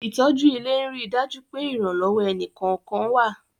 Ìtọ́jú ilé ń rí dájú pé ìrànlọ́wọ́ ẹni kọ̀ọ̀kan wa